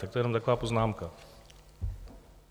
Tak to je jenom taková poznámka.